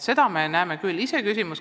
Seda me näeme küll.